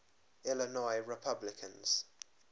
illinois republicans